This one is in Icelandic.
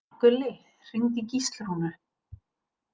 Gulli, hringdu í Gíslrúnu.